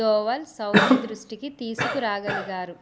Doval Saudi దృష్టికి తీసుకురాగలిగారు